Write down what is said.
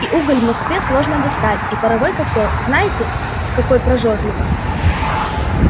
и уголь в москве сложно достать а паровой котёл знаете какой прожорливый